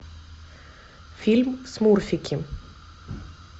фильм смурфики